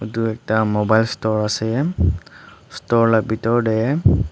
edu ekta mobile store ase store la bhitor tae.